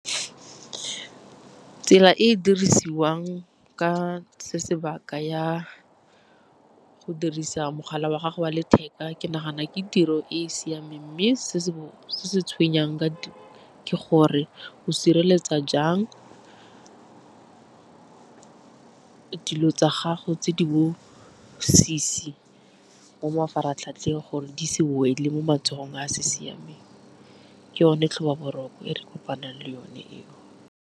Tsela e e dirisiwang ka se sebaka ya go dirisa mogala wa gago wa letheka ke nagana ke tiro e e siameng, mme se se tshwenyang ke gore o sireletsa jang dilo tsa gago tse di bobusisi mo mafaratlhatlheng gore di se wele mo matsogong a se siameng. Ke yone tlhoba boroko ya re kopanang le yone eo.